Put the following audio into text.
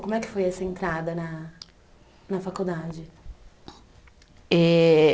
Como é que foi essa entrada na na faculdade? Eh